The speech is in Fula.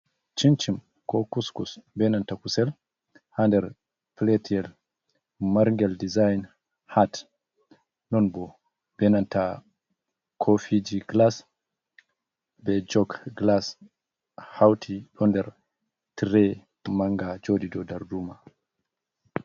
Cincim ko kuskus benan to na kusel ha nder piletel yel margel dezyen hat non bo. benantina koofiji glas be jog glas houti o nder tire manga joɗ ido dar duma.